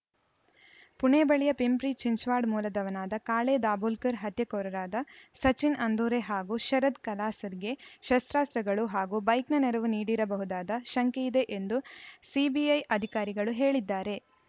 ಪುಣೆ ಬಳಿಯ ಪಿಂಪ್ರಿ ಚಿಂಚ್ವಾಡ್‌ ಮೂಲದವನಾದ ಕಾಳೆ ದಾಭೋಲ್ಕರ್‌ ಹತ್ಯೆಕೋರರಾದ ಸಚಿನ್‌ ಅಂದೂರೆ ಹಾಗೂ ಶರದ್‌ ಕಲಾಸ್ಕರ್‌ಗೆ ಶಸ್ತ್ರಾಸ್ತ್ರಗಳು ಹಾಗೂ ಬೈಕ್‌ನ ನೆರವು ನೀಡಿರಬಹುದಾದ ಶಂಕೆಯಿದೆ ಎಂದು ಸಿಬಿಐ ಅಧಿಕಾರಿಗಳು ಹೇಳಿದ್ದಾರೆ